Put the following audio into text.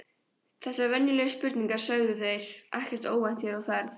Þessar venjulegu spurningar sögðu þeir, ekkert óvænt hér á ferð